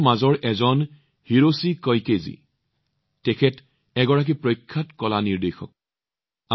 তেওঁলোকৰ মাজৰ এজন হৈছে হিৰোচি কইকে জী যি এজন প্ৰখ্যাত কলা পৰিচালক